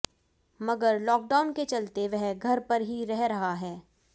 मगर लॉकडाउन के चलते वह घर पर ही रह रहा है